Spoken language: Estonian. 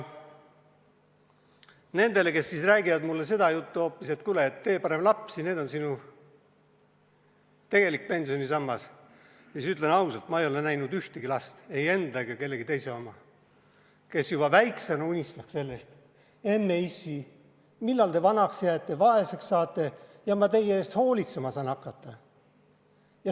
Nendele, kes räägivad mulle seda juttu hoopis, et kuule, tee parem lapsi, need on sinu tegelik pensionisammas, ütlen ausalt: ma ei ole näinud ühtegi last, ei enda ega kellegi teise oma, kes juba väiksena unistaks sellest, et emme-issi, millal te vanaks jääte, vaeseks jääte ja ma teie eest hoolitsema saan hakata.